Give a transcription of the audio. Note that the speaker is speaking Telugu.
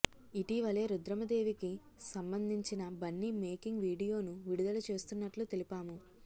ఇటీవలే రుద్రమదేవికి సంబందించిన బన్ని మేకింగ్ వీడియోను విడుదల చేస్తున్నట్లు తెలిపాము